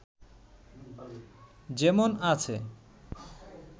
যেমন আছে